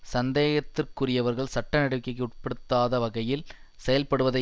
சந்தேகத்திற்குரியவர்கள் சட்ட நடவடிக்கைக்கு உட்படுத்தாத வகையில் செயல்படுவதை